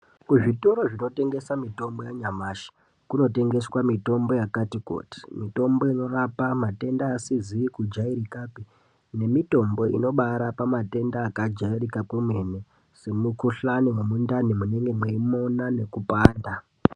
Kuzvitoro zvinotengeswa mitombo yanyamashi kunotengeswa mitombo yakati kuti mitombo inorapa matenda asizi kujairikapi nemitombo inobarapa matenda akabaajairika kwemene semukuhlani wemundani unenge uchimona weipanda.